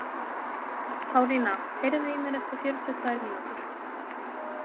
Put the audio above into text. Pálína, heyrðu í mér eftir fjörutíu og tvær mínútur.